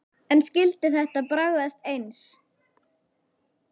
En skyldi þetta bragðast eins?